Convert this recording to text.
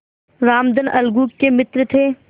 रामधन अलगू के मित्र थे